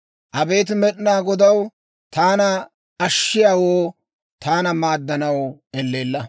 Abeet Med'inaa Godaw, taana ashshiyaawoo, taana maaddanaw elleella.